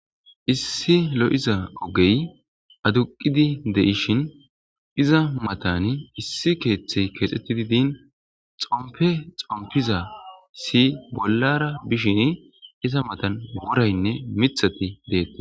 Issi lo7iza ogey aduqidi de7ishin iza matan issi keeththey keexxettidi diin xompe xompiza si bollara bishin iza matan goraynne mithati deette.